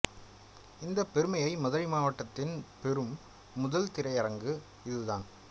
இந்தப் பெருமையை மதுரை மாவட்டத்தில் பெரும் முதல் திரையரங்கு இது தான்